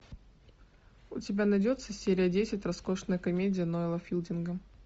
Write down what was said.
у тебя найдется серия десять роскошная комедия ноила филдинга